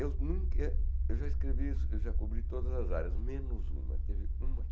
Eu nunca eu já escrevi isso, eu já cobri todas as áreas, menos uma. Teve uma